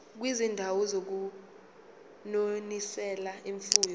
kwizindawo zokunonisela imfuyo